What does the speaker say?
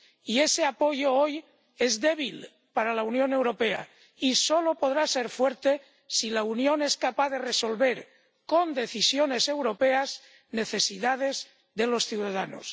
Y ese apoyo, hoy, es débil para la Unión Europea y solo podrá ser fuerte si la Unión es capaz de resolver con decisiones europeas necesidades de los ciudadanos.